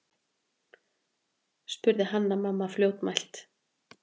spurði Hanna-Mamma fljótmælt.